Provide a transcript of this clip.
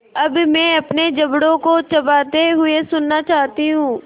अब मैं अपने जबड़ों को चबाते हुए सुनना चाहती हूँ